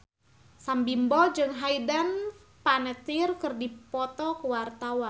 Sam Bimbo jeung Hayden Panettiere keur dipoto ku wartawan